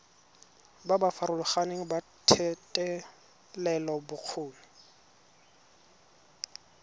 ba ba farologaneng ba thetelelobokgoni